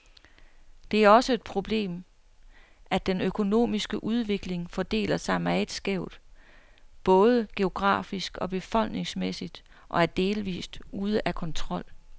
Det er også et problemet, at den økonomiske udvikling fordeler sig meget skævt, både geografisk og befolkningsmæssigt, og er delvist ude af kontrol.